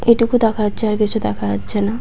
এটুকু দেখা যাচ্ছে আর কিছু দেখা যাচ্ছে না ।